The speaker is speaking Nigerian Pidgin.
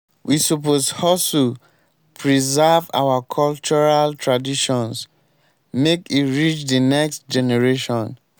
we suppose hustle preserve our cultural traditions make e reach de next generation.